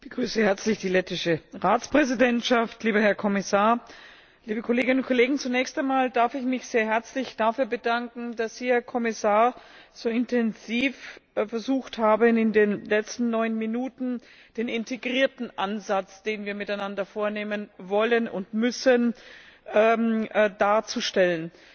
Frau Präsidentin, ich begrüße auch herzlich die lettische Ratspräsidentschaft, lieber Herr Kommissar, liebe Kolleginnen und Kollegen! Zunächst einmal darf ich mich sehr herzlich dafür bedanken, dass Sie, Herr Kommissar, so intensiv versucht haben, in den letzten neun Minuten den integrierten Ansatz, den wir miteinander vornehmen wollen und müssen, darzustellen.